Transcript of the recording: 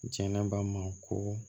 Jɛnɛba ma ko